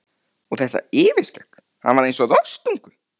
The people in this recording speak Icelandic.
Og þetta yfirskegg, hann var eins og rostungur.